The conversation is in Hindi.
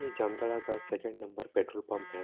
यह जामताड़ा का सेकंड नंबर पेट्रोल पंप हैं।